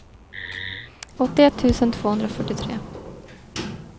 åttioett tusen tvåhundrafyrtiotre